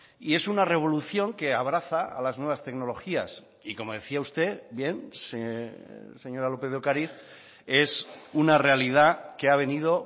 y es una revolución que abraza a las nuevas tecnologías y como decía usted bien señora lópez de ocariz es una realidad que ha venido